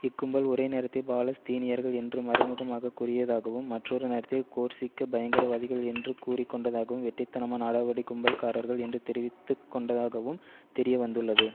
இக்கும்பல் ஒரே நேரத்தில் பாலஸ்தீனியர்கள் என்று மறைமுகமாக கூறியதாவும் மற்றொரு நேரத்தில் கோர்சிக்கு பயங்கரவாதிகள் என்று கூறி கொண்டதாகவும் வெட்டித்தனமான அடாவடிக் கும்பல்காரர்கள் என்று தெரிவித்து கொண்டதாகவும் தெரியவந்துள்ளது